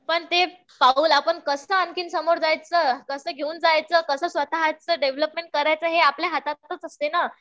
पण ते पाऊल आपण कसं आणखीन समोर जायचं, कसं घेऊन जायचं, कसं स्वतःच डेव्हलपमेंट करायचं हे आपल्या हातातच असते ना.